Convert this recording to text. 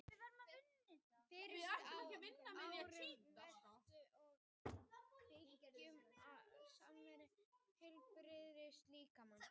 Á fyrsta og öðru ári fræðast nemar um byggingu og starfsemi heilbrigðs líkama.